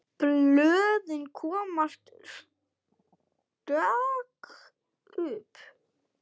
Blöðin koma stök upp.